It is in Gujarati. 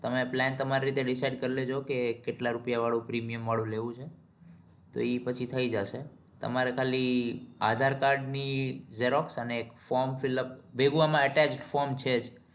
તમે plan તમાર રીતે decide કરી લેજો કે કેટલા રૂપિયા વાળું premium વાળું લેવું છે તો એ પછી થઇ જશે તમારે ખાલી aadhar card ની xerox અને એક from filp ભેગું આમાં from છે જ